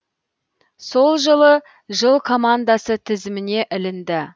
сол жылы жыл командасы тізіміне ілінді